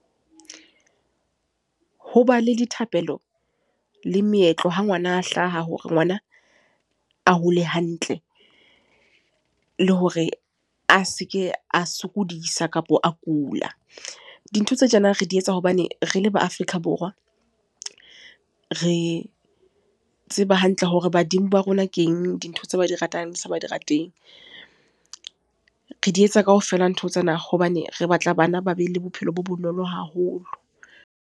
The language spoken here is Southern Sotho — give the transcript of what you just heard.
Ho ba le dithapelo le meetlo, ha ngwana a hlaha hore ngwana a hole hantle. Le hore a seke a sokodisa, kapo a kula. Dintho tse tjena re di etsa hobane re le ba Afrika Borwa. Re tseba hantle hore badimo ba rona keng dintho tse ba di ratang, tse ba sa di rateng. Re di etsa kaofela ntho tsena, hobane re batla bana ba be le bophelo bo bonolo haholo.